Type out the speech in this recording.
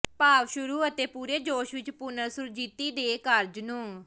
ਭਾਵ ਸ਼ੁਰੂ ਅਤੇ ਪੂਰੇ ਜੋਸ਼ ਵਿੱਚ ਪੁਨਰ ਸੁਰਜੀਤੀ ਦੇ ਕਾਰਜ ਨੂੰ